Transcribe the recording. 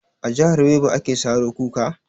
A jahar yobe ake saro kuka?